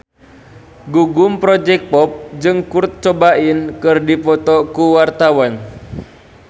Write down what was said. Gugum Project Pop jeung Kurt Cobain keur dipoto ku wartawan